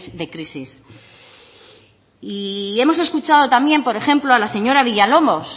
de crisis y hemos escuchado también por ejemplo a la señora villalobos